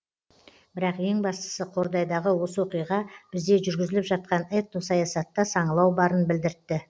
бірақ ең бастысы қордайдағы осы оқиға бізде жүргізіліп жатқан этносаясатта саңылау барын білдіртті